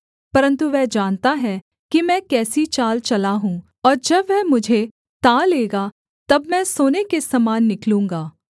परन्तु वह जानता है कि मैं कैसी चाल चला हूँ और जब वह मुझे ता लेगा तब मैं सोने के समान निकलूँगा